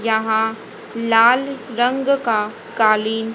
यहां लाल रंग का कालीन--